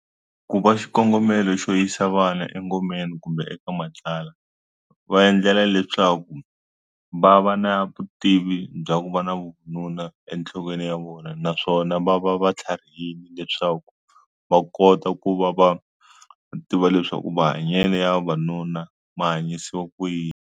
Ku va xikongomelo xo yisa vana engomeni kumbe eka matlala va endlela leswaku va va na vutivi bya ku va na vununa enhlokweni ya vona naswona va va va tlharihile leswaku va kota ku va va tiva leswaku mahanyele ya vavanuna ma hanyisiwa ku yini.